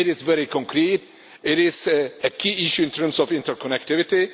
It is very concrete and it is a key issue in terms of interconnectivity.